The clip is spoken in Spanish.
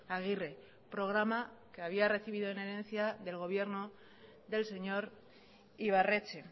aguirre programa que había recibido en herencia del gobierno del señor ibarretxe